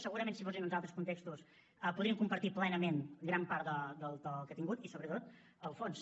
segurament si fossin uns altres contextos podríem compartir plenament gran part del to que ha tingut i sobretot el fons